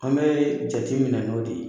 An bɛɛ jate minɛ n'o de ye.